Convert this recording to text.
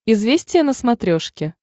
известия на смотрешке